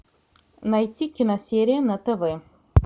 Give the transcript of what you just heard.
найти киносерия на тв